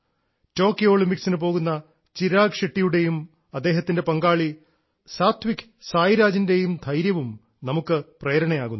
Tokyo ഒളിമ്പിക്സിനു പോകുന്ന ചിരാഗ് ഷെട്ടിയുടേയും അദ്ദേഹത്തിൻറെ പങ്കാളി സാത്വിക് സായി രാജിൻറെയും ധൈര്യവും നമുക്ക് പ്രേരണയാകുന്നു